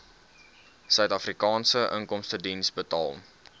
suidafrikaanse inkomstediens betaal